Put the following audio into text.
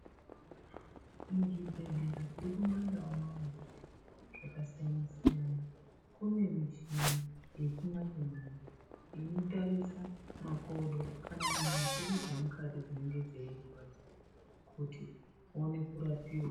Muzvibhehlera zviri kumandau unono zvakasiyana -siyana kune michini yechimanje-manje inotarisa makodo kana nyama dzedu dzemukati dzinenge dzeirwadza kuti uone kurapiwa.